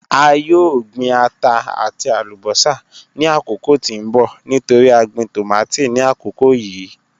A yoo gbin ata ati alubosa ni akoko ti n bọ nitori a gbin tomati ni akoko yii